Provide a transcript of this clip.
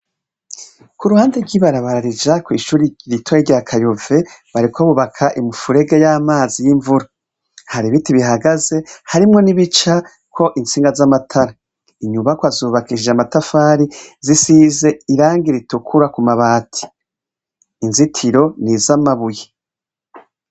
Kuruhande rwibarabara rija kwishure ritoya rya kayove bariko bubaka imifurege yamazi yimvura hari ibiti bihagaze harimwo nibicako intsinga zamatara inyubakwa zubakishije amatafari zisize irangi ritukuru kumabati inzitiro nizamabuye